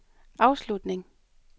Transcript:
afslutning